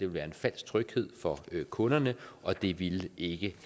være en falsk tryghed for kunderne og det ville ikke